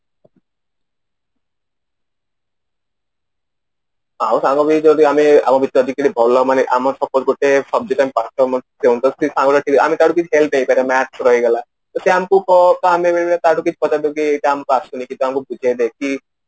ଯଦି ଆମେ math ରେ ହେଇଗଲା ତ sir ଆମକୁ ତ ଆମେ ବି ହେଇଭଳିଆ କାହାଠୁ କିଛି ପଚାରି ଦବୁ କି ଏଇଟା ଆମକୁ ଆସୁନି ଟିକେ ଆମକୁ ବୁଝେଇ ଦେବେ କି